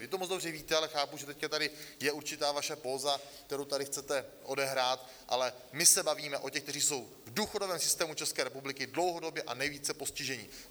Vy to moc dobře víte, ale chápu, že teď tady je určitá vaše póza, kterou tady chcete odehrát, ale my se bavíme o těch, kteří jsou v důchodovém systému České republiky dlouhodobě a nejvíce postiženi.